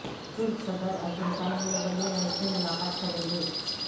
ترک صدر ارجنٹائن میں ولی عہد سے ملاقات کریںگے